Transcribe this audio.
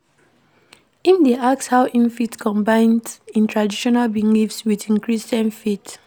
Im dey ask how im fit combines im traditional beliefs wit im Christian faith.